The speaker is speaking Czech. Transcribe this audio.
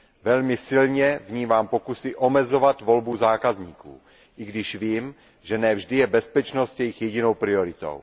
Velmi silně vnímám pokusy omezovat volbu zákazníků, i když vím, že ne vždy je bezpečnost jejich jedinou prioritou.